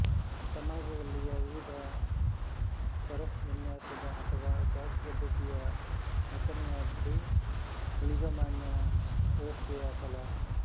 ಸಮಾಜದಲ್ಲಿಯ ವಿವಿಧ ಸ್ತರವಿನ್ಯಾಸದ ಅಥವಾ ಜಾತಿಪದ್ಧತಿಯ ರಚನೆಯಾದ್ದು ಊಳಿಗಮಾನ್ಯ ವ್ಯವಸ್ಥೆಯ ಫಲ